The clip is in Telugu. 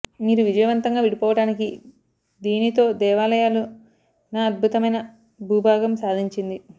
మీరు విజయవంతంగా విడిపోవడానికి దీనితో దేవాలయాలు న అద్భుతమైన భూభాగం సాధించింది